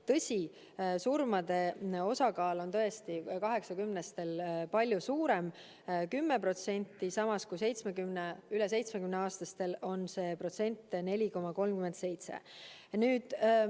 Tõsi, surmade osakaal on tõesti üle 80-aastaste seas palju suurem, 10%, samas kui üle 70-aastaste puhul on see protsent 4,37.